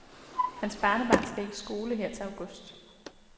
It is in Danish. Hans barnebarn skal i skole her til august.